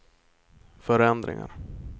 förändringar